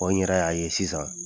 Bon n yɛrɛ y'a ye sisan